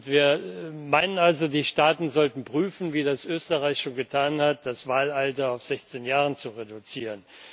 Wir meinen also, die Staaten sollten prüfen, wie das Österreich schon getan hat, das Wahlalter auf 16 Jahre zu reduzieren.